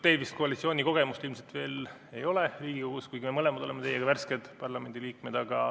Teil koalitsioonikogemust ilmselt Riigikogus veel ei ole, kuigi me mõlemad oleme värsked parlamendi liikmed.